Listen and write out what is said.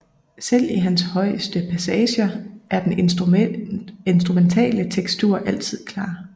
Selv i hans højeste passager er den instrumentale tekstur altid klar